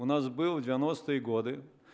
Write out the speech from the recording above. у нас был девяностые годы